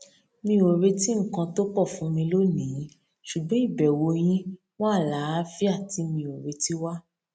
mi ò retí nǹkan tó pọ fún mi lónìí ṣùgbọn ìbẹwò yín mú àlàáfíà tí mi ò retí wá